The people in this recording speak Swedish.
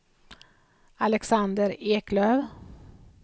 Alexander Eklöf